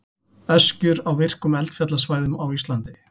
Öskjur á virkum eldfjallasvæðum á Íslandi.